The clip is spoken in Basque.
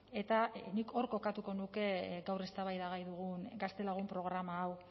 eta nik hor kokatuko nuke gaur eztabaidagai dugun gaztelagun programa hau